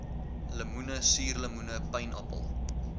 lemoene suurlemoene pynappel